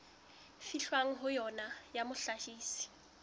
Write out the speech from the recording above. fihlwang ho yona ya mohlahisi